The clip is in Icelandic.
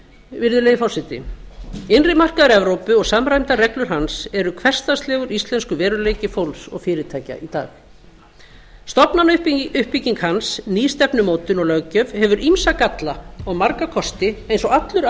virðulegi forseti innri markaður evrópu og samræmdar reglur hans eru hversdagslegur íslenskur veruleiki fólks og fyrirtækja í dag stofnanauppbygging hans ný stefnumótun og löggjöf hefur ýmsa galla og marga kosti eins og allur